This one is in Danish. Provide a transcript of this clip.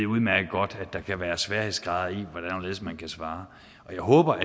udmærket godt at der kan være sværhedsgrader i hvordan og hvorledes man kan svare jeg håber